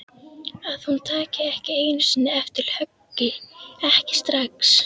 Að hún taki ekki einu sinni eftir höggi, ekki strax.